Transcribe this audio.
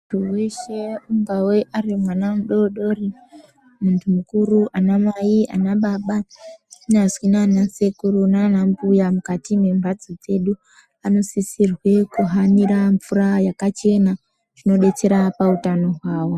Muntu weshe ungave ari mwana mudo dori muntu mukuru ana mai ana baba kunyazi nana sekuru nana mbuya mukati me mbatso dzedu anosisirwe ku hanira mvura yakachena zvino detsera pa utano hwawo.